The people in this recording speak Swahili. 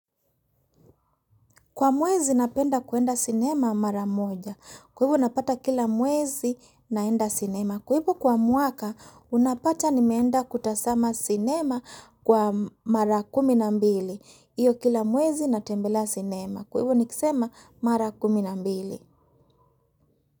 Kwa mwezi napenda kuenda sinema mara moja. Kwa hivo napata kila mwezi naenda sinema. Kwa hivo kwa mwaka unapata nimeenda kutazama sinema kwa mara kumi na mbili. Hiyo kila mwezi natembelea sinema. Kwa hivu nikisema mara kumi na mbili.